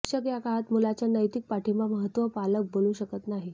शिक्षक या काळात मुलाच्या नैतिक पाठिंबा महत्त्व पालक बोलू शकत नाही